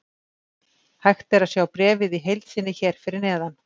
Hægt er að sjá bréfið í heild sinni hér fyrir neðan.